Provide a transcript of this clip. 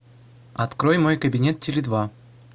открой мой кабинет теле два